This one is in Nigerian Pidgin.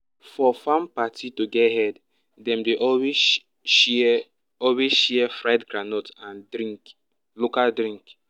for farm party to get head dem dey always share always share fried groundnut and drink local drink